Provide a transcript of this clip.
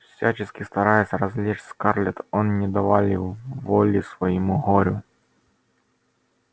всячески стараясь развлечь скарлетт он не давали воли своему горю